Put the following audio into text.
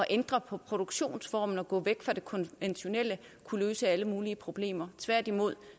ændre på produktionsformen og gå væk fra det konventionelle kunne løse alle mulige problemer tværtimod